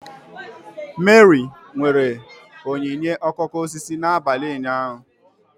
Meri nwere onyinye okooko osisi n'abalị ụnyaahụ.